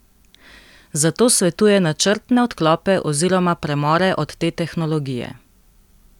Zato svetuje načrtne odklope oziroma premore od te tehnologije.